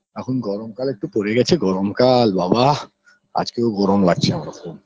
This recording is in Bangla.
এখন গরম কাল একটু পরে গেছে গরম কাল বাবাঃ আজকেও গরম লাগছে আমার খুব